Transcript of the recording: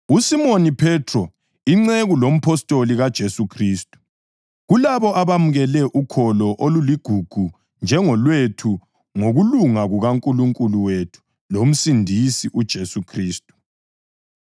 USimoni Phethro, inceku lompostoli kaJesu Khristu, Kulabo abamukele ukholo oluligugu njengolwethu ngokulunga kukaNkulunkulu wethu loMsindisi uJesu Khristu: